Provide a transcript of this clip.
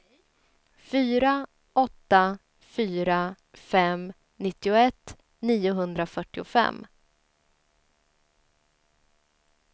fyra åtta fyra fem nittioett niohundrafyrtiofem